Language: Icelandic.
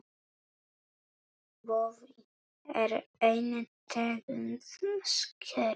Boði: er ein tegund skerja.